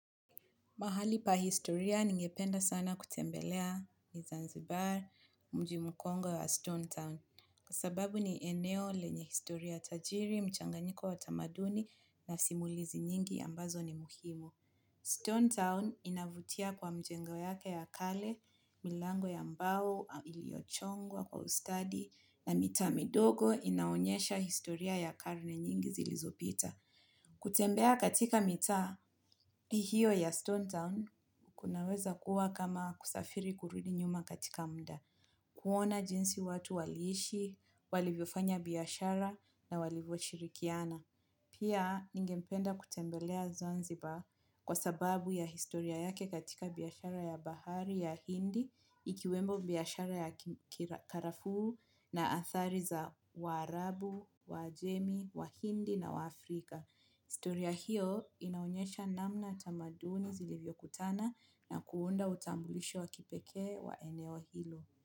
Mahali pa historia ningependa sana kutembelea ni Zanzibar, mji mkongowe wa Stone Town. Kwa sababu ni eneo lenye historia tajiri, mchanganyiko wa tamaduni na simulizi nyingi ambazo ni muhimu. Stone Town inavutia kwa mjengo yake ya kale, milango ya mbao iliochongwa kwa ustadi na mita midogo inaonyesha historia ya karne nyingi zilizopita. Kutembea katika mitaa hiyo ya Stone Town kunaweza kuwa kama kusafiri kurudi nyuma katika mda. Kuona jinsi watu waliishi, walivyofanya biyashara na walivyoshirikiana. Pia ningempenda kutembelea Zanzibar kwa sababu ya historia yake katika biashara ya bahari ya hindi ikiwemo biashara ya kikara karafu na athari za Waarabu, Wajemi, Wahindi na wa Afrika. Historia hiyo inaonyesha namna tamaduni zilivyokutana na kuunda utambulisho wa kipekee wa eneo hilo.